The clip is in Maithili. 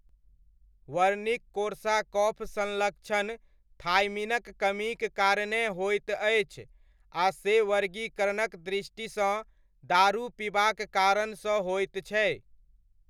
वर्निक कोर्साकॉफ संलक्षण थायमिनक कमीक कारणेँ होइत अछि आ से वर्गीकरणक दृष्टिसँ दारू पिबाक कारणसँ होइत छै।